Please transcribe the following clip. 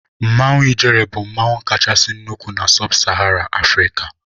Mmanwụ ijele bụ mmanwụ kachasị nnụkwụ na-sub sahara afrika.